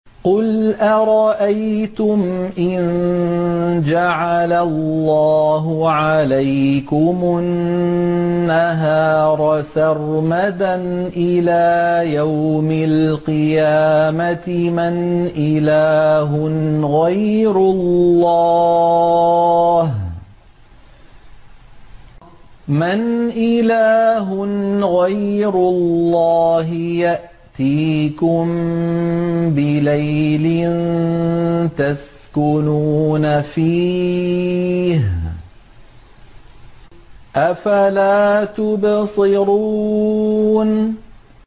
قُلْ أَرَأَيْتُمْ إِن جَعَلَ اللَّهُ عَلَيْكُمُ النَّهَارَ سَرْمَدًا إِلَىٰ يَوْمِ الْقِيَامَةِ مَنْ إِلَٰهٌ غَيْرُ اللَّهِ يَأْتِيكُم بِلَيْلٍ تَسْكُنُونَ فِيهِ ۖ أَفَلَا تُبْصِرُونَ